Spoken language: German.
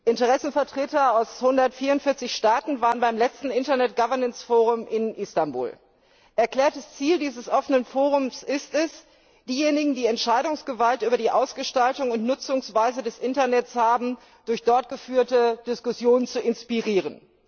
Interessenvertreter aus 144 Staaten waren beim letzten Internet Governance Forum in Istanbul. Erklärtes Ziel dieses offenen Forums ist es, diejenigen, die Entscheidungsgewalt über die Ausgestaltung und Nutzungsweise des Internets haben, durch dort geführte Diskussionen zu inspirieren.